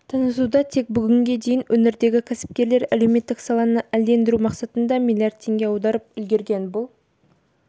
танытуда тек бүгінге дейін өңірдегі кәсіпкерлер әлеуметтік саланы әлдендіру мақсатында миллиард теңге аударып үлгерген бұл